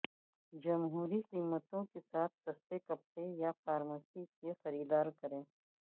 جمہوری قیمتوں کے ساتھ سستے کپڑے یا فارمیسی کی خریداری کریں